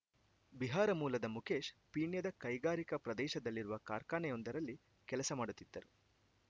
ಬಿಹಾರ ಮೂಲದ ಮುಖೇಶ್‌ ಪೀಣ್ಯದ ಕೈಗಾರಿಕಾ ಪ್ರದೇಶದಲ್ಲಿರುವ ಕಾರ್ಖಾನೆಯೊಂದರಲ್ಲಿ ಕೆಲಸ ಮಾಡುತ್ತಿದ್ದರು